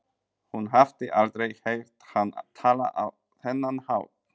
Hún hafði aldrei heyrt hann tala á þennan hátt.